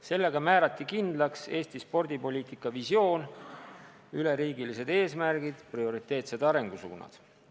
Sellega määrati kindlaks Eesti spordipoliitika visioon, üleriigilised eesmärgid ja prioriteetsed arengusuunad.